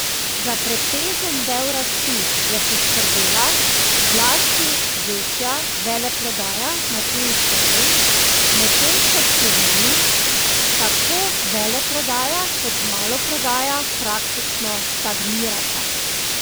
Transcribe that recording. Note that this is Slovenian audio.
Za pretežen del rasti je poskrbela zlasti večja veleprodaja na tujih trgih, medtem ko v Sloveniji tako veleprodaja kot maloprodaja praktično stagnirata.